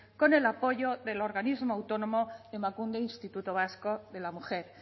con el apoyo del organismo autónomo emakunde instituto vasco de la mujer